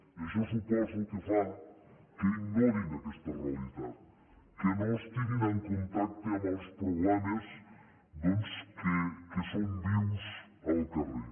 i això suposo que fa que ignorin aquesta realitat que no estiguin en contacte amb els problemes doncs que són vius al carrer